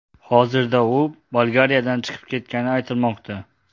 Hozirda u Bolgariyadan chiqib ketgani aytilmoqda.